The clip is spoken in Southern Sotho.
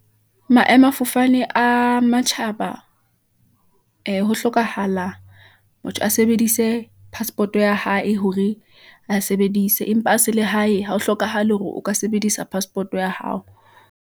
Maemafofane a matjhaba , ee ho hlokahala motho a sebedise passport ya hae, hore a sebedise, empa a sele hae. Ha ho hlokahale hore o ka sebedisa passport ya hao.